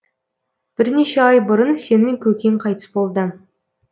бірнеше ай бұрын сенің көкең қайтыс болды